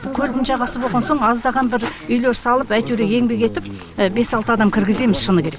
көлдің жағасы болған соң аздаған бір үйлер салып әйтеуір еңбек етіп бес алты адам кіргіземіз шыны керек